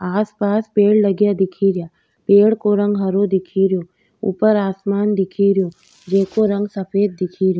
आसपास पेड़ लगया दिखेरया पेड़ को रंग हरो दिखेरयो ऊपर आसमान दिखेरयो जिको रंग सफ़ेद दिखेरयो।